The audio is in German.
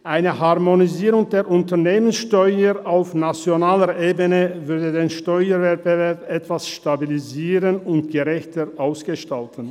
Eine Harmonisierung der Unternehmenssteuer auf nationaler Ebene würde den Steuerwettbewerb etwas stabilisieren und gerechter ausgestalten.